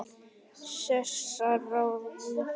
Sesar á eftir henni.